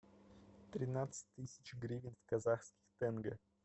тринадцать тысяч гривен в казахских тенге